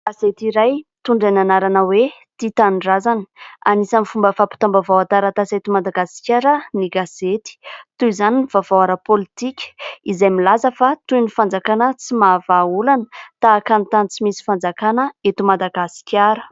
Gazety iray mitondra ny anarana hoe :« tia tanindrazana ». Anisany fomba fampitam-baovao an-taratasy eto Madagasikara ny gasyety toy izany ny vavao ara politika izay milaza fa : toy ny fanjakana tsy mahavaha olana tahaka ny tany tsy misy fanjakana eto Madagasikara.